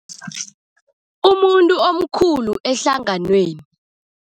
Umuntu omkhulu ehlanganweni.